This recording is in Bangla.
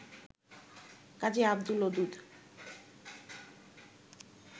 কাজী আবদুল ওদুদ